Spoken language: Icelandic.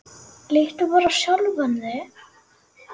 Líttu bara á sjálfan þig.